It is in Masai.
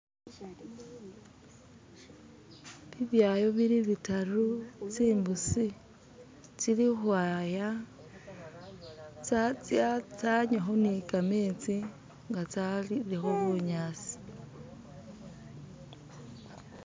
bibyayo biribitaru tsimbusi tsili hwaya tsanywaho nikametsi ngatsalileho bunyasi